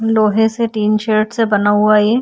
लोहे से tin shed से बना हुआ है ये।